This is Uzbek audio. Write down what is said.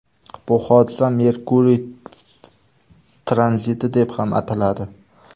Bu hodisa Merkuriy tranziti deb ham ataladi.